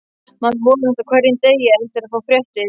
Maður vonast á hverjum degi eftir að fá fréttir.